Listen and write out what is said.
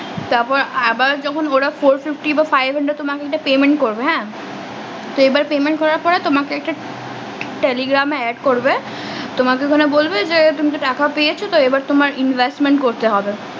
তার পর আবার যখন ওরা Fourfifty বা five hundred তোমাকে একটা payment করবে হ্যাঁ payment করার পর তোমাকে একটা telegram এ add করবে তোমাকে ওখানে বলবে যে তুমি তো টাকা পেয়েছ তো এবার তোমার investment করতে হবে